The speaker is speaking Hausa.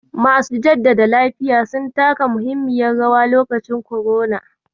Masu jaddada lafiya sun taka muhimmiyar rawa lokacin korona.